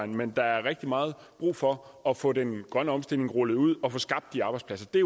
men der er rigtig meget brug for at få den grønne omstilling rullet ud og få skabt de arbejdspladser det